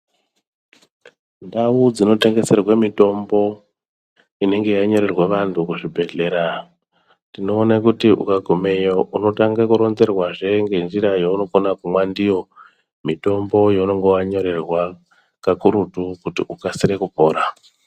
Ndau dzinotengeserwe mitombo inenge yanyorerwa vantu kuzvibhedhleya tinoona kuti ukagumeyo unotange kuronzerwazve ngenzira yaunokone kumwa ndiyo mutombo yaunenge wanyorerwa kakurutu kuti ukasire kupora.